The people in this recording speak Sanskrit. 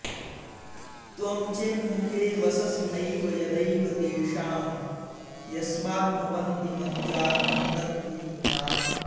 त्वं चेन्मुखे वससि नैव यदैव तेषां यस्माद्भवन्ति मनुजा न हि तद्विहीनाः